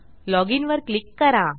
log inवर click करा